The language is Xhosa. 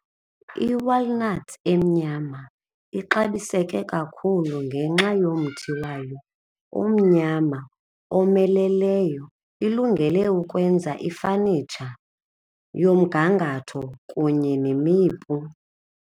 I-walnut emnyama ixabiseke kakhulu ngenxa yomthi wayo omnyama omeleleyo, ilungele ukwenza ifanitsha yomgangatho kunye nemipu.